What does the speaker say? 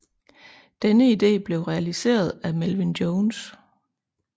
Denne idé blev realiseret af Melvin Jones